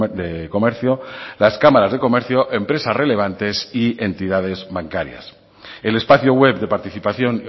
de comercio las cámaras de comercio empresas relevantes y entidades bancarias el espacio web de participación